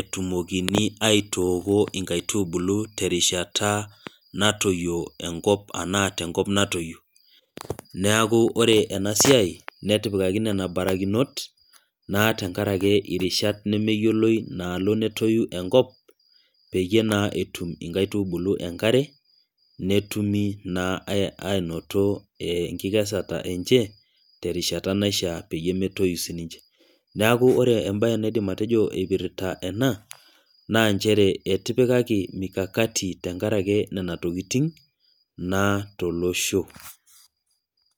etumokini ai water inkaitubulu terishata natoyio enkop ashu tenkop natoyio. neeku orre ena siai, netipikaki nena barakinot naa tenkaraki irishat nemeyioloi naalo netoi enkop. peyie naa etum inkaitubulu enkare, netumi naa aanoto enkikesare enche terishata naishaa peyie metoyu sii ninche. neeku ore ebae naidim atejo eipirta ena naa nchere etipikaki mikakakti tenkaraki nena tokitin naa tolosho.